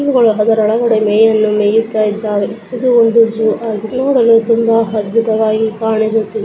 ಇವುಗಳು ಅದರೊಳಗೆ ಮೇಯಲು ಮೇಯುತ್ತಾ ಇದ್ದಾವೆ ಇದು ಒಂದು ಜೋ ಆ ನೋಡಲು ತುಂಬಾ ಅದ್ಭುತವಾಗಿ ಕಾಣಿಸುತ್ತಿದೆ.